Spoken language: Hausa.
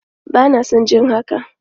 Bana son jin haka!